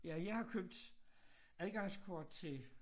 Ja jeg har købt adgangskort til